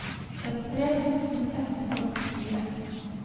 trettitre tusen ett hundre og åttifire